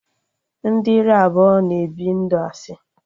Ndị ire abụọ na-ebi ndụ asị